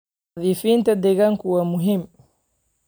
Nadiifinta deegaanka waa muhiim.